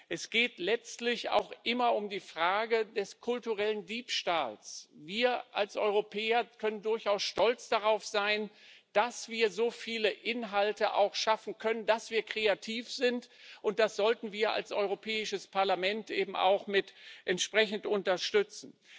Es geht letztlich auch immer um die Frage des kulturellen Diebstahls. Wir als Europäer können durchaus stolz darauf sein, dass wir so viele Inhalte auch schaffen können, dass wir kreativ sind, und das sollten wir als Europäisches Parlament eben auch entsprechend unterstützen.